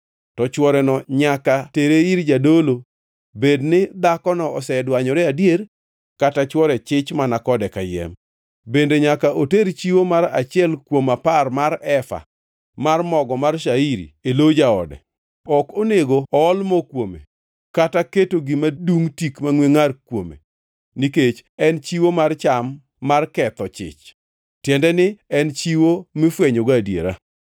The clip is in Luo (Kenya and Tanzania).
to chworeno nyaka tere ir jadolo bed ni dhakono osedwanyore adier kata chwore chich mana kode kayiem. Bende nyaka oter chiwo mar achiel kuom apar mar efa mar mogo mar shairi e lo jaode. Ok onego ool mo kuome kata keto gima dungʼ tik mangʼwe ngʼar kuome, nikech en chiwo mar cham mar ketho chich, tiende ni en chiwo mifwenyogo adiera.